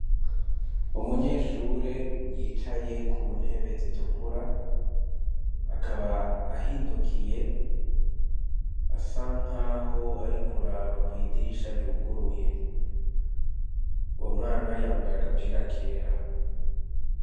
Umunyeshure yicaye ku ntebe zitukura akaba ahindukiye asa nkaho ari kuraba kw'idirisha ryuguruye wo mwana yambaye agapira kera.